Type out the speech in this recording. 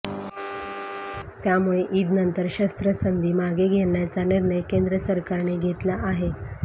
त्यामुळे ईदनंतर शस्त्रसंधी मागे घेण्याचा निर्णय केंद्र सरकारने घेतला आहे